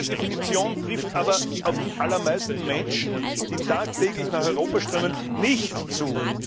Diese Definition trifft aber auf die allermeisten Menschen, die tagtäglich nach Europa strömen, nicht zu.